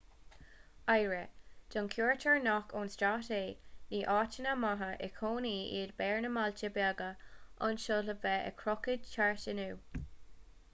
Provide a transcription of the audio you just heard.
aire don chuairteoir nach ón stát é ní áiteanna maithe i gcónaí iad beáir na mbailte beaga anseo le bheith ag crochadh thart iontu